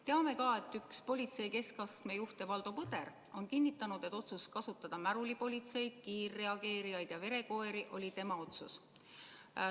Teame ka, et üks politsei keskastme juhte Valdo Põder on kinnitanud, et otsus kasutada märulipolitseid, kiirreageerijaid ja verekoeri oli tema otsus.